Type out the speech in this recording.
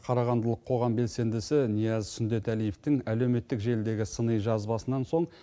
қарағандылық қоғам белсендісі нияз сүндетәлиевтің әлеуметтік желідегі сыни жазбасынан соң